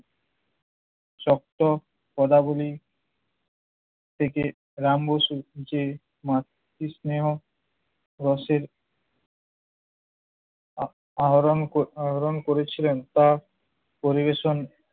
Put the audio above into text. শক্ত কোদাবলী থেকে রাম বসু যে মাতৃ স্নেহ রসের আহ আহরণ করে~ আহরণ করেছিলেন তা পরিবেশন